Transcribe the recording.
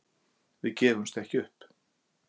Við gefumst ekki upp